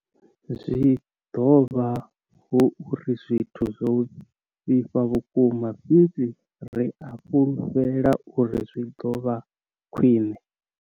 Zwi ḓo vha hu uri zwithu zwo vhifha vhukuma, fhedzi ri a fhulufhela uri zwi ḓo vha khwiṋe.